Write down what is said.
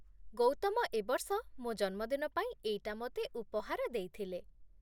ଗୌତମ ଏବର୍ଷ ମୋ ଜନ୍ମଦିନ ପାଇଁ ଏଇଟା ମୋତେ ଉପହାର ଦେଇଥିଲେ ।